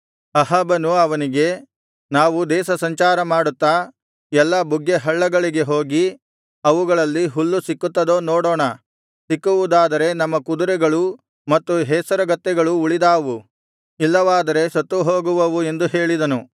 ಅಹಾಬನು ಅವನಿಗೆ ನಾವು ದೇಶಸಂಚಾರ ಮಾಡುತ್ತಾ ಎಲ್ಲಾ ಬುಗ್ಗೆ ಹಳ್ಳಗಳಿಗೆ ಹೋಗಿ ಅವುಗಳಲ್ಲಿ ಹುಲ್ಲು ಸಿಕ್ಕುತ್ತದೋ ನೋಡೋಣ ಸಿಕ್ಕುವುದಾದರೆ ನಮ್ಮ ಕುದುರೆಗಳೂ ಮತ್ತು ಹೇಸರಗತ್ತೆಗಳೂ ಉಳಿದಾವು ಇಲ್ಲವಾದರೆ ಸತ್ತುಹೋಗುವವು ಎಂದು ಹೇಳಿದನು